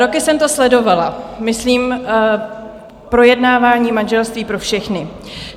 Roky jsem to sledovala, myslím projednávání manželství pro všechny.